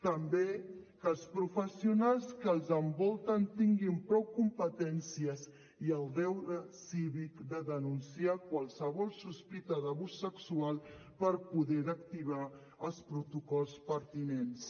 també que els professionals que els envolten tinguin prou competències i el deure cívic de denunciar qualsevol sospita d’abús sexual per poder activar els protocols pertinents